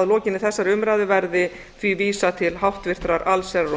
að lokinni þessari umræðu verði því vísað til háttvirtrar allsherjar og